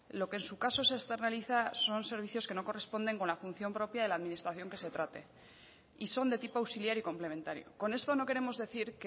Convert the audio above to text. lo que en su caso se externaliza son servicios que no corresponden con la función propia de la administración que se trate y son de tipo auxiliar y complementario con esto no queremos decir